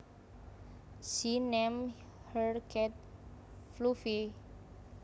She named her cat Fluffy